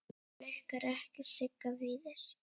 Reka Blikar ekki Sigga Víðis?